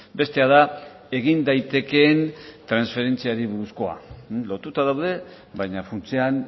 bestea da egin daitekeen transferentziari buruzkoa lotuta daude baina funtsean